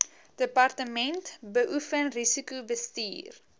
departement beoefen risikobestuur